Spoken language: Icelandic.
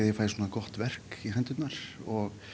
ég fæ svona gott verk í hendurnar og